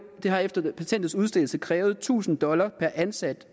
har efter patentets udstedelse krævet tusind dollar per ansat